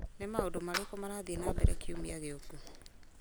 nĩ maũndũ marĩkũ marathiĩ na mbere kiumia gĩũku